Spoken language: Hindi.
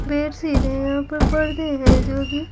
पैर सीधे है ऊपर पडदे है जो की--